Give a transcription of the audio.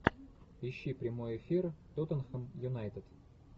ищи прямой эфир тоттенхэм юнайтед